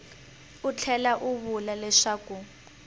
u tlhela u vula leswaku